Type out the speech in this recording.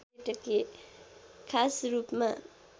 खास रूपमा